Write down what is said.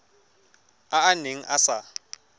a a neng a sa